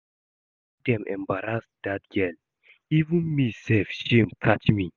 The way wey dem embarrass dat girl, even me sef shame catch me